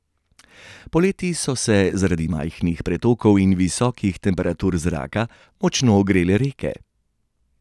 Poleti so se zaradi majhnih pretokov in visokih temperatur zraka močno ogrele reke.